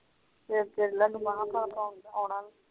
ਫੇਰ